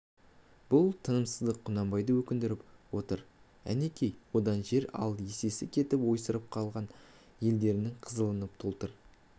бұл тынымсыздық құнанбайды өкіндіріп отыр әнекей одан жер ал есесі кетіп ойсырап қалған елдеріңнің қызылын толтыр